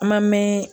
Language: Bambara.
An ma mɛn